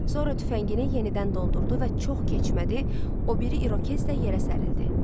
Sonra tüfəngini yenidən doldurdu və çox keçmədi, o biri İrokez də yerə sərildi.